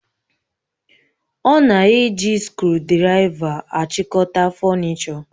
Ọ na-eji skrụdiraiva achịkọta fọnichọ.